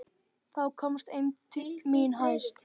Þá komst eymd mín hæst.